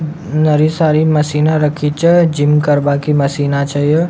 नरी सारी मशीना रखी छ जिम करवा की मशीना छ ये।